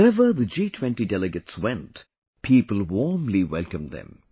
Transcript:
Wherever the G20 Delegates went, people warmly welcomed them